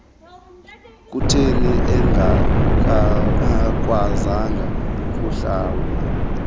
kutheni engakwazanga kuhlawula